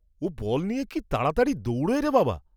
ও ball নিয়ে কি তাড়াতাড়ি দৌড়ায় রে বাবা!